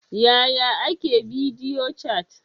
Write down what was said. Yaya ake bidiyo cat?